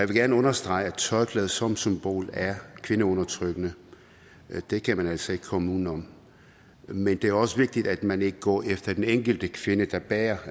gerne understrege at tørklæde som symbol er kvindeundertrykkende det kan man altså ikke komme uden om men det er også vigtigt at man ikke går efter den enkelte kvinde der bærer